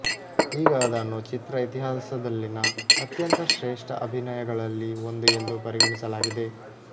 ಈಗ ಅದನ್ನು ಚಿತ್ರ ಇತಿಹಾಸದಲ್ಲಿನ ಅತ್ಯಂತ ಶ್ರೇಷ್ಠ ಅಭಿನಯಗಳಲ್ಲಿ ಒಂದು ಎಂದು ಪರಿಗಣಿಸಲಾಗಿದೆ